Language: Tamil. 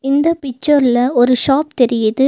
இந்த பிச்சர் ல ஒரு ஷாப் தெரியுது.